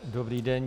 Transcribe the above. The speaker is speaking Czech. Dobrý den.